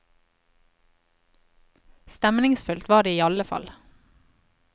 Stemningsfullt var det i alle fall.